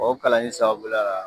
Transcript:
O kalan nin sababul a